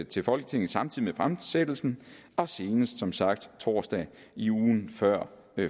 til folketinget samtidig med fremsættelsen og senest som sagt torsdag i ugen før